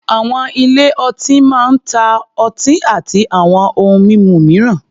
Àwọn ilé-ọtí máa ń ta ọtí àti àwọn ohun mímu mìíràn.